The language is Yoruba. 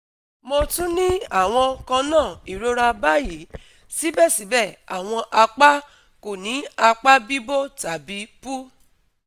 Mo tun ni awọn kanna irora bayi, sibẹsibẹ awọn apa ko ni apa bibo tabi pu